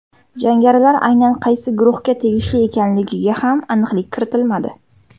Jangarilar aynan qaysi guruhga tegishli ekanligiga ham aniqlik kiritilmadi.